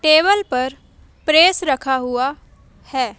Table पर press रखा हुआ है।